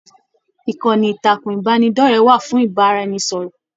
Ìkànnì ìtàkùn ìbánidọ̀rẹ̀ wà fún ìbáraẹnisọ̀rọ̀.